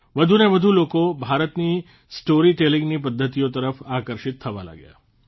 વધુને વધુ લોકો ભારતની સ્ટોરી ટેલીંગની પદ્ધતિઓ તરફ આકર્ષિત થવા લાગ્યા